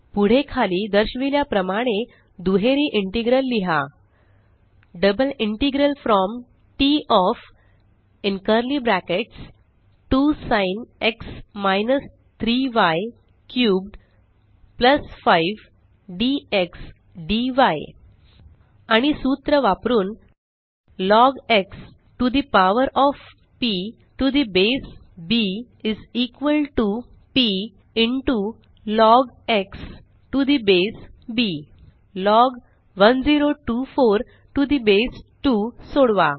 पुढे खाली दर्शविल्या प्रमाणे दुहेरी इंटेग्रल लिहा double integral from TT of 2 sin x - 3 y cubed 5 dx dy आणि सूत्र वापरुन log x to the power of p to the base b is equal to p into log x to the base b log 1024 to the base 2 सोडवा